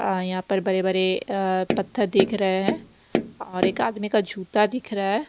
अ यहां पर बड़े-बड़े अ अपत्थर दिख रहे हैं और एक आदमी का जूता दिख रहा है।